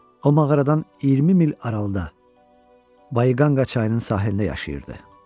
O mağaradan 20 mil aralıda Bayqanqa çayının sahilində yaşayırdı.